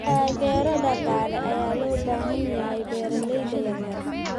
Taageero dhaqaale ayaa loo baahan yahay beeralayda yaryar.